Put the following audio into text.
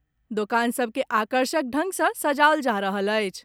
दोकान सभ के आकर्षक ढ़ंग सॅ सजाओल जा रहल अछि।